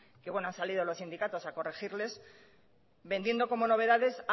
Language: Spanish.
que bueno han salido los sindicatos a corregirles vendiendo como novedades